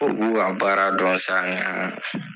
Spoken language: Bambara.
U b'u ka baara dɔn sa nga